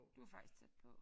Du var faktisk tæt på